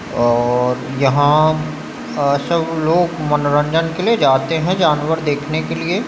और यहाँ सब लोग मनोरंजन के लिए जाते हैं जानवर देखने के लिए --